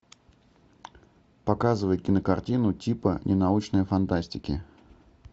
показывай кинокартину типа ненаучной фантастики